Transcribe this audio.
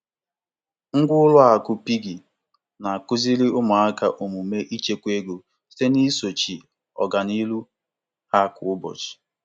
Ịgba ụmụaka ume ka ha buru ụzọ n'eme nchekwa ego site na nkwụnye ego ụlọakụ piggy mgbe niile bụ ihe dị oke mkpa.